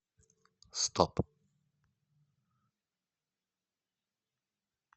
стоп